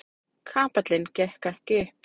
Kapallinn gekk ekki upp.